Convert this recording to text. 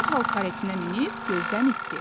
dərhal karetinə minib gözdən itdi.